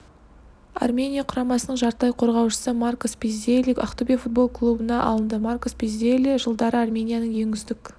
армения құрамасының жартылай қорғаушысы маркос пиззелли ақтөбе футбол клубына алынды маркос пиззели жылдары арменияның ең үздік